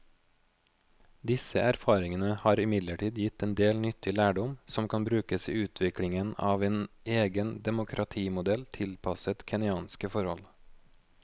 Disse erfaringene har imidlertid gitt en del nyttig lærdom som kan brukes i utviklingen av en egen demokratimodell tilpasset kenyanske forhold.